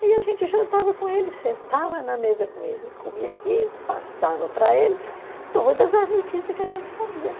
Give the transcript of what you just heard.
Aí a gente jantava com ele, sentava na mesa com ele, comia e passava para ele todas as notícias que a gente sabia.